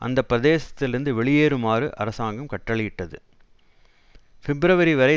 அந்த பிரதேசத்தில் இருந்து வெளியேறுமாறு அரசாங்கம் கட்டளையிட்டது பிப்ரவரி வரை